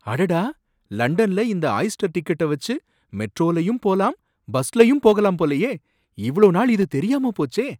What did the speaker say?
அடடா! லண்டன்ல இந்த ஆயிஸ்டர் டிக்கெட்ட வச்சு மெட்ரோவுலயும் போலாம் பஸ்லயும் போகலாம் போலயே, இவ்ளோ நாள் இது தெரியாம போச்சே!